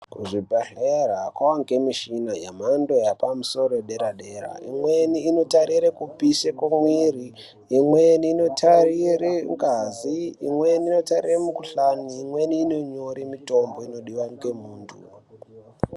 Kuzvibhedhlera kwavanikwe mishina yemhando yepamusoro yedera-dera. Imweni inotarire kupisa kwemwiri, imweni notarire ngazi, imweni inotarire mikuhlani, imwe inonyore mitombo inodiva ngemuntu.